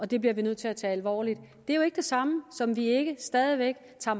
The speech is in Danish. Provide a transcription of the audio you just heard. det bliver vi nødt til at tage alvorligt det er jo ikke det samme som at vi ikke stadig væk tager